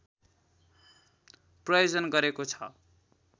प्रायोजन गरेको छ